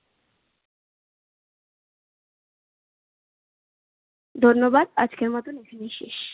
ধন্যবাদ আজকের মতো এখানেই শেষ।